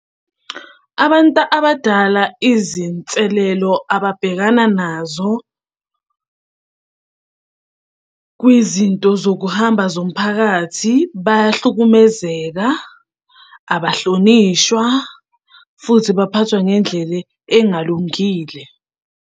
Abantu abadala izinselelo ababhekana nazo kwizinto zokuhamba zomphakathi, bayahlukumezeka, abahlonishwa, futhi baphathwa ngendlela engalungile.